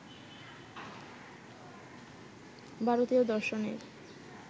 ভারতীয় দর্শনের